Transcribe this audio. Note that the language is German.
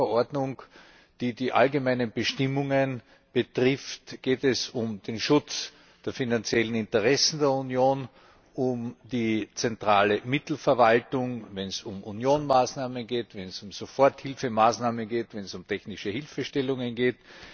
In dieser Verordnung, die die allgemeinen Bestimmungen betrifft, geht es um den Schutz der finanziellen Interessen der Union, um die zentrale Mittelverwaltung, wenn es um Unionsmaßnahmen geht, wenn es um Soforthilfemaßnahmen geht, wenn es um technische Hilfestellungen geht.